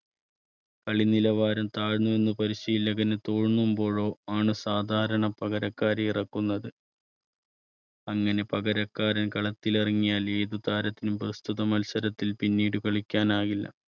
കളി നിലവാരം താഴ്ന്നു എന്ന് പരിശീലകന് തോന്നുമ്പോഴോ ആണ് സാധാരണ പകരക്കാരെ ഇറക്കുന്നത്. അങ്ങനെ പകരക്കാരൻ കളത്തിലിറങ്ങിയാൽ ഏത് താരത്തിനും പ്രസ്തുത മത്സരത്തിൽ പിന്നീട് കളിക്കാനാവില്ല.